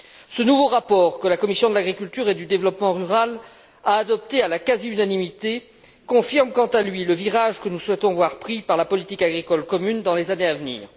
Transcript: Ce nouveau rapport, que la commission de l'agriculture et du développement rural a adopté à la quasi unanimité, confirme quant à lui le virage que nous souhaitons voir pris par la politique agricole commune dans les années à venir.